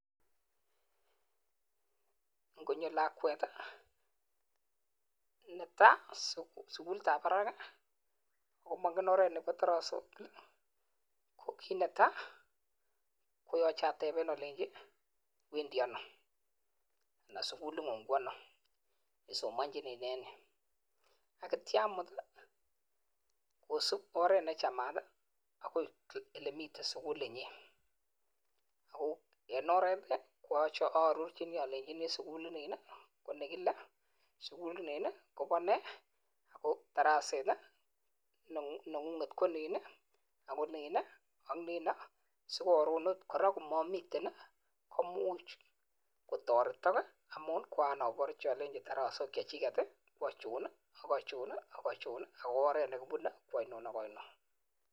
Ngonyoo lakweet notok KO sugulit ap parak KO kii Netai koyacheee atepeee alenjiii sugulin KO.sugulit ap.parak ,,sugulin Ni kopa kamanut akoyachei aparchi oret nekipuneee AK alenjii aichon AK aichon chemagatiin